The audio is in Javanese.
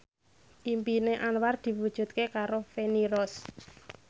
impine Anwar diwujudke karo Feni Rose